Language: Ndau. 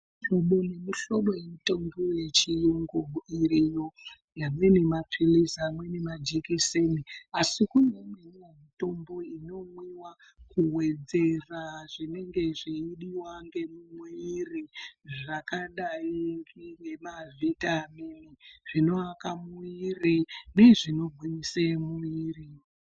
Muhlobo nemihlobo yemitombo yechiyungu iriyo, amweni maphilizi, amweni majikiseni, asi kune imweni mitombo inomwiwa ,kuwedzera zvinenge zveidiwa ngemwiri, zvakadai ngemavhitamini, zvinoaka mwiri ,nezvinogwinyise mwiri.